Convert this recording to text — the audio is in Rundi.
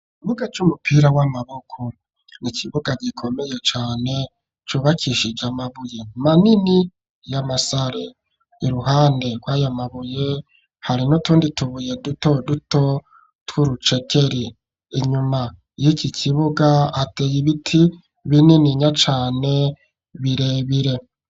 Ikibuga c'umupira w'amaboko. Ni ikibuga gikomeye cane cubakishije amabuye manini y'amasare. Iruhande rw'aya mabuye, hari n'utundi tubuye dutoduto tw'urucekeri. Inyuma y'iki kibuga hateye ibiti bininya cane, birebire.